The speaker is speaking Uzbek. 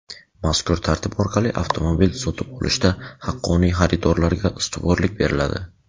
Mazkur tartib orqali avtomobil sotib olishda haqqoniy xaridorlarga ustuvorlik beriladi.